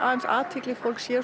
athygli fólks